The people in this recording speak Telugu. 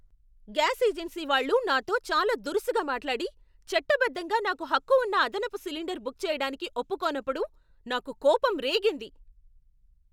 గ్యాస్ ఏజెన్సీ వాళ్ళు నాతో చాలా దురుసుగా మాట్లాడి, చట్టబద్ధంగా నాకు హక్కు ఉన్న అదనపు సిలిండర్ బుక్ చేయడానికి ఒప్పుకోనప్పుడు నాకు కోపం రేగింది.